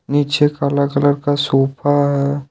नीचे काला कलर का सोफा है।